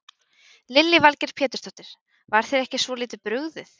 Lillý Valgerður Pétursdóttir: Var þér ekki svolítið brugðið?